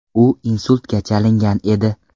U insultga chalingan edi.